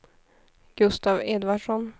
Gustaf Edvardsson